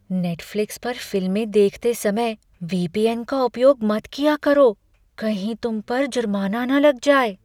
Netflix पर फिल्में देखते समय वी.पी.एन. का उपयोग मत किया करो। कहीं तुम पर जुर्माना न लग जाए।